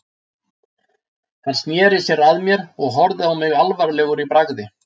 Hann sneri sér að mér og horfði á mig alvarlegur í bragði.